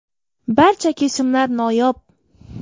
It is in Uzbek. Barcha kesimlar noyob.